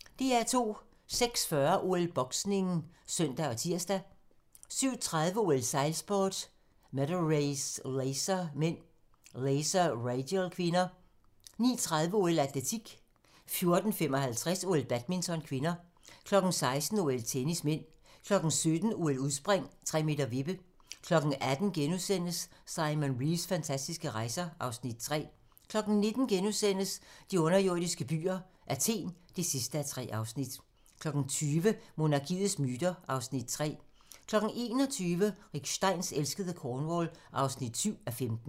06:40: OL: Boksning (søn og tir) 07:30: OL: Sejlsport, Medal race, Laser (m), Laser Radial (k) 09:30: OL: Atletik 14:55: OL: Badminton (k) 16:00: OL: Tennis (m) 17:00: OL: Udspring, 3m vippe 18:00: Simon Reeves fantastiske rejser (Afs. 3)* 19:00: De underjordiske byer – Athen (3:3)* 20:00: Monarkiets myter (Afs. 3) 21:00: Rick Steins elskede Cornwall (7:15)